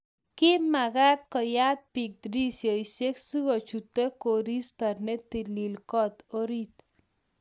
ki mekat kuyat biik dirisiosiek sikuchutu koristo ne talil koot orit